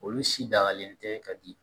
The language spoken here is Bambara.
Olu si dagalen tɛ ka di